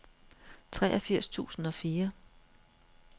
treogfirs tusind og fire